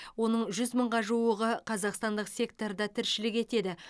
оның жүз мыңға жуығы қазақстандық секторда тіршілік етеді